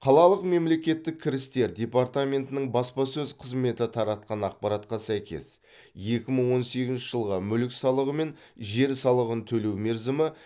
қалалық мемлекеттік кірістер департаментінің баспасөз қызметі таратқан ақпаратқа сәйкес екі мың он сегізінші жылға мүлік салығы мен жер салығын төлеу мерзімі